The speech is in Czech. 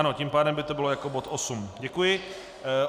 Ano, tím pádem by to bylo jako bod 8. Děkuji.